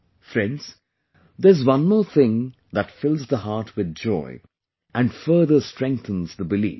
Friends, there's one more thing that fills the heart with joy and further strengthens the belief